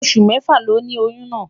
Osu mefa loni oyun naa